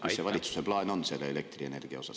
… milline valitsuse plaan on selle elektrienergia osas.